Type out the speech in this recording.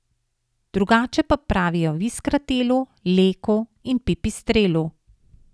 Drugače pa pravijo v Iskratelu, Leku in Pipistrelu.